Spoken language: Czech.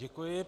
Děkuji.